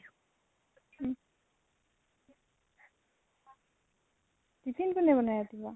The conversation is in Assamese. উম । tiffin কোনে বনায় ৰাতিপুৱা?